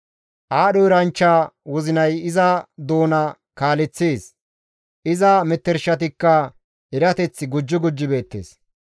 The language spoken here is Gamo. Aadho eranchcha wozinay iza doona kaaleththees; iza metershatikka erateth gujji gujji beettes.